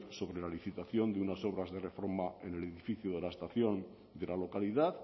sobre la licitación de unas obras de reforma en el edificio de la estación de la localidad